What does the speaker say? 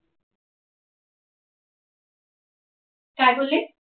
काय बोल्ले